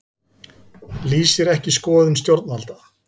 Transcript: Lýsir ekki skoðun stjórnvalda